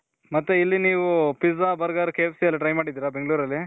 ಮತ್ತೆ ಇಲ್ಲಿ ನೀವು pizza, burger, K F C ಎಲ್ಲಾ try ಮಾಡಿದಿರ ಬೆಂಗ್ಳೂರಲ್ಲಿ .